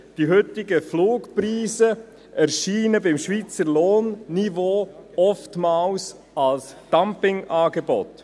Die heutigen Flugpreise erscheinen beim Schweizer Lohnniveau oftmals als Dumpingangebote.